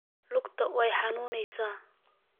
Luugta iixanuneysa.